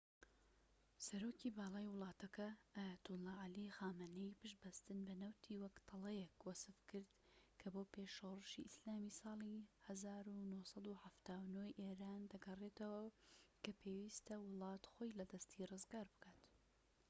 سەرۆکی باڵای وڵاتەکە ئایەتوڵا عەلی خامانایی پشت بەستن بە نەوتی وەک تەڵەیەک وەسفکرد کە بۆ پێش شۆڕشی ئیسلامی ساڵی 1979ی ئێران دەگەڕێتەوە و کە پێویستە وڵات خۆی لە دەستی ڕزگار بکات